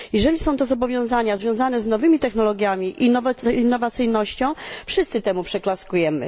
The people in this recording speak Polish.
Jeżeli są to zobowiązania związane z nowymi technologiami i innowacyjnością, wszyscy temu przyklaskujemy.